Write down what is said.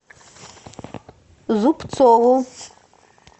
зубцову